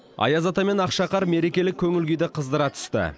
аяз ата мен ақшақар мерекелік көңіл күйді қыздыра түсті